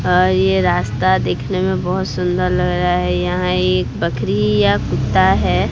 और ये रास्ता देखने में बहोत सुंदर लग रहा है यहां एक बकरी या कुत्ता है।